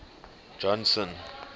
johnson